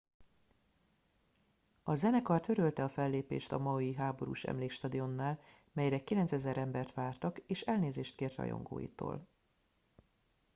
a zenekar törölte a fellépést a maui háborús emlékstadionnál melyre 9000 embert vártak és elnézést kért rajongóitól